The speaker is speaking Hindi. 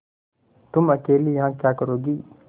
तुम अकेली यहाँ क्या करोगी